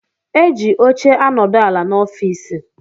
Eji óche anodu ala n' ọffici.